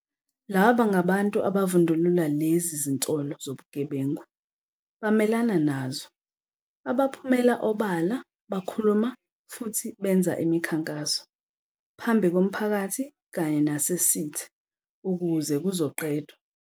Laba ngabantu abavundulula lezi zinsolo zobugebengu, bamelana nazo, abaphumela obala bakhuluma futhi benza imikhankaso - phambi komphakathi kanye nasesithe - ukuze kuzoqedwa.